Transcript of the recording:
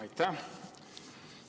Aitäh!